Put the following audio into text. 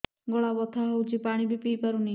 ଗଳା ବଥା ହଉଚି ପାଣି ବି ପିଇ ପାରୁନି